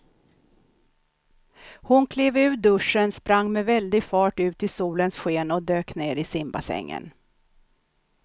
Hon klev ur duschen, sprang med väldig fart ut i solens sken och dök ner i simbassängen.